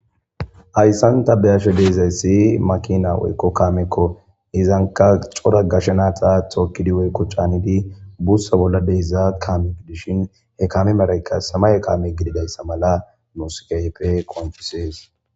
ayssan ta beyasho deezayssi makina woykko kaamekko izanka cora gashenaataa tookkidi woykko caanidi bussa bolla deiza kamik dishin he kame marayka samaye kaame gididayssa mala muskayeppe qonchisees